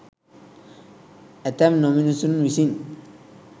ඇතැම් නොමිනුසුන් විසින්